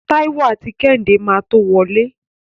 Táíwò àti Kẹ́hìndé máa tó wọlé.